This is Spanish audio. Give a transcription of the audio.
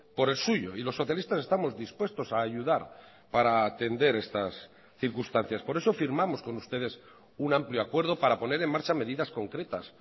por el suyo y los socialistas estamos dispuestos a ayudar para atender estas circunstancias por eso firmamos con ustedes un amplio acuerdo para poner en marcha medidas concretas